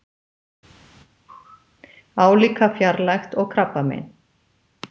Álíka fjarlægt og krabbamein.